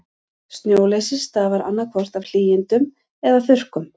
Snjóleysi stafar annað hvort af hlýindum eða þurrkum.